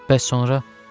Bəs sonra?